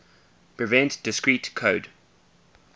prevent discrete code